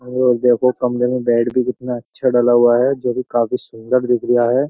और देखो कमरे में बेड भी कितना अच्छा डाला हुआ है जो कि काफी सुंदर दिख रहा है।